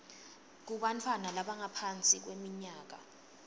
kubantfwana labangaphansi kweminyaka